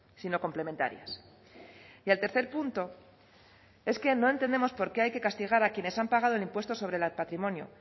sino complementarias y el tercer punto es que no entendemos por qué hay que castigar a quienes han pagado el impuesto sobre el patrimonio